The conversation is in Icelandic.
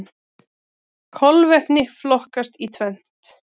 Kolvetni flokkast í tvennt.